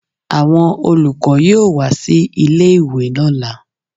Àwọn olùkọ́ yóò wá sí ilé-ìwe lọ́là